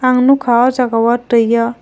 ang nokha o jaga o tui o.